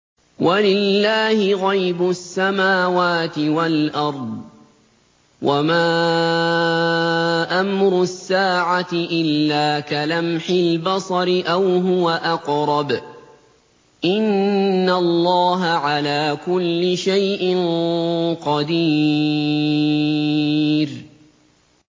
وَلِلَّهِ غَيْبُ السَّمَاوَاتِ وَالْأَرْضِ ۚ وَمَا أَمْرُ السَّاعَةِ إِلَّا كَلَمْحِ الْبَصَرِ أَوْ هُوَ أَقْرَبُ ۚ إِنَّ اللَّهَ عَلَىٰ كُلِّ شَيْءٍ قَدِيرٌ